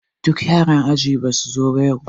Duk yara aji ɗaya basu zo ba yau